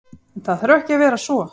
En, það þarf ekki að vera svo.